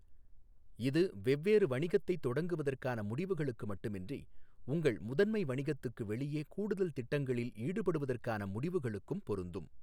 இது வெவ்வேறு வணிகத்தைத் தொடங்குவதற்கான முடிவுகளுக்கு மட்டுமின்றி, உங்கள் முதன்மை வணிகத்துக்கு வெளியே கூடுதல் திட்டங்களில் ஈடுபடுவதற்கான முடிவுகளுக்கும் பொருந்தும்.